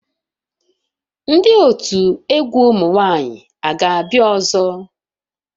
Ndị otu egwu ụmụ nwanyị ga-abịa ọzọ?